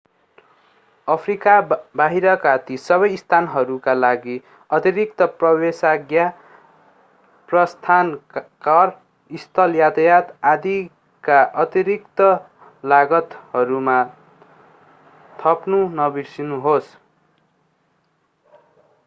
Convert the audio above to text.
Africa बाहिरका ती सबै स्थानहरूका लागि अतिरिक्त प्रवेशाज्ञा प्रस्थान कर स्थल यातायात आदिका अतिरिक्त लागतहरूमा थप्न नबिर्सनुहोस्